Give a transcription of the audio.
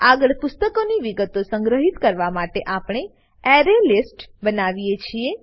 આગળ પુસ્તકોની વિગતો સંગ્રહિત કરવા માટે આપણે એરેલિસ્ટ બનાવીએ છીએ